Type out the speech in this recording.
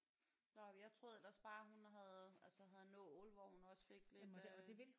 Nåh men jeg troede ellers bare hun havde altså havde nål hvor hun også fik lidt øh